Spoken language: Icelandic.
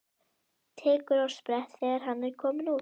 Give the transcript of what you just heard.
Tekur á sprett þegar hann er kominn út.